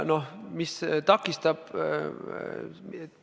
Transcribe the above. Noh, mis takistab?